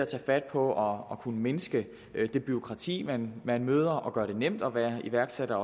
tage fat på at kunne mindske det bureaukrati man man møder og gøre det nemt at være iværksætter